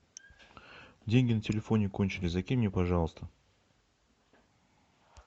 деньги на телефоне кончились закинь мне пожалуйста